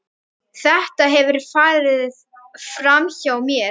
Þetta hefur farið framhjá mér!